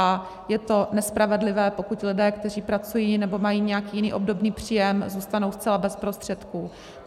A je to nespravedlivé, pokud lidé, kteří pracují nebo mají nějaký jiný obdobný příjem, zůstanou zcela bez prostředků.